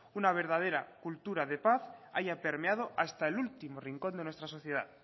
una verdadera cultura de paz haya permeado hasta el último rincón de nuestra sociedad